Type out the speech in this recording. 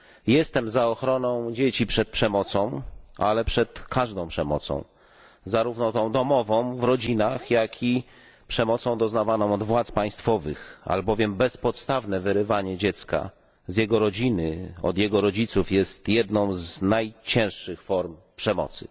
Jestem za ochroną dzieci przed przemocą, ale przed każdą przemocą, zarówno tą domową w rodzinach, jak i przemocą doznawaną od władz państwowych, albowiem bezpodstawne wyrywanie dziecka z jego rodziny, od jego rodziców, jest jedną z najcięższych form przemocy.